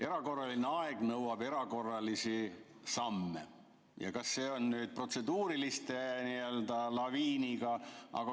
Erakorraline aeg nõuab erakorralisi samme, aga kas just protseduuriliste laviiniga.